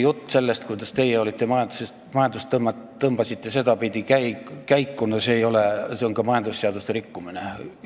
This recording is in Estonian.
Jutt sellest, kuidas teie majandust sel moel käima tõmbasite – no see on ka majandusseaduste rikkumine.